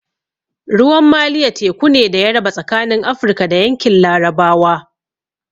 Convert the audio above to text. Ruwan Maliya teku ne da ya raba tsakanin Afrika da yankin larabawa